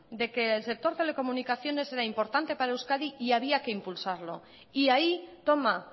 de que el sector telecomunicaciones era importante para euskadi y había que impulsarlo y ahí toma